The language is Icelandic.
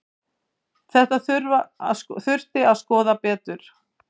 Þetta þurfi að skoða betur.